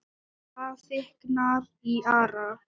Það þykknar í Ara